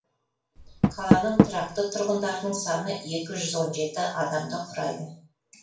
қаланың тұрақты тұрғындарының саны екі жүз он жеті адамды құрайды